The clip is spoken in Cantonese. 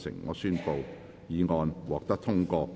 我宣布議案獲得通過。